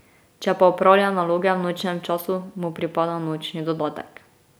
Če pa opravlja naloge v nočnem času, mu pripada nočni dodatek.